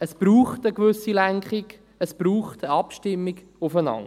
Es braucht eine gewisse Lenkung, es braucht eine Abstimmung aufeinander.